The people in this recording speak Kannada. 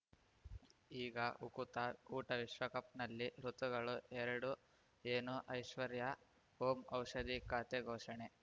ಈಗ ಉಕುತ ಊಟ ವಿಶ್ವಕಪ್‌ನಲ್ಲಿ ಋತುಗಳು ಎರಡು ಏನು ಐಶ್ವರ್ಯಾ ಓಂ ಔಷಧಿ ಖಾತೆ ಘೋಷಣೆ